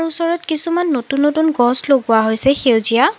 ওচৰত কিছুমান নতুন নতুন গছ লগোৱা হৈছে সেউজীয়া।